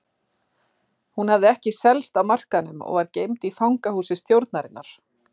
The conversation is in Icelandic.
Hún hafði ekki selst á markaðnum og var geymd í fangahúsi stjórnarinnar.